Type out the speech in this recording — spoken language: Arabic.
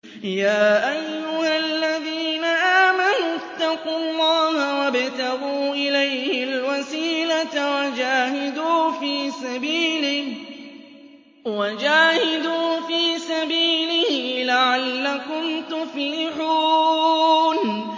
يَا أَيُّهَا الَّذِينَ آمَنُوا اتَّقُوا اللَّهَ وَابْتَغُوا إِلَيْهِ الْوَسِيلَةَ وَجَاهِدُوا فِي سَبِيلِهِ لَعَلَّكُمْ تُفْلِحُونَ